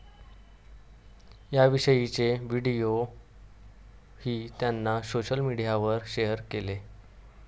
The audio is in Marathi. याविषयीचेच व्हिडिओही त्यांनी सोशल मीडियावर शेअर केले.